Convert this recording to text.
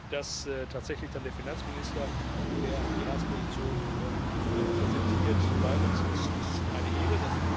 Dass tatsächlich dann der Finanzminister, der die Ratsposition präsentiert, bei uns ist, ist eine Ehre.